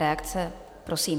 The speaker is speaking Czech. Reakce, prosím.